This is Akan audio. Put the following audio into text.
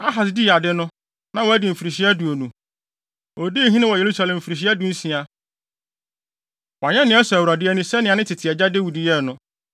Ahas dii ade no, na wadi mfirihyia aduonu. Odii hene wɔ Yerusalem mfirihyia dunsia. Wanyɛ nea ɛsɔ Awurade ani sɛnea ne tete agya Dawid yɛe no.